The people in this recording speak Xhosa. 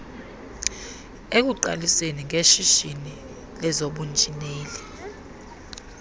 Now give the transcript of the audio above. ekuqaliseni ngeshishini lezobunjineli